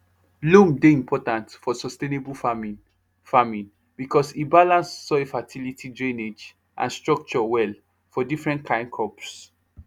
loam dey important for sustainable farming farming because e balance soil fertility drainage and structure well for different kain crops